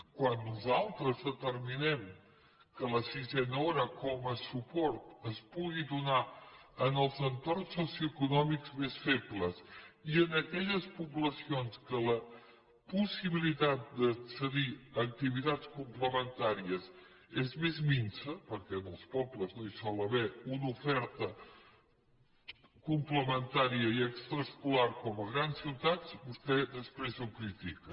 quan nosaltres determinem que la sisena hora com a suport es pugui donar en els entorns socioeconòmics més febles i en aquelles poblacions que la possibilitat d’accedir a activitats complementàries és més minsa perquè en els pobles no hi sol haver una oferta complementària i extraescolar com a grans ciutats vostè després ho critica